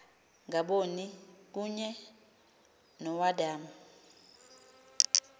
ngaboni kunye noadam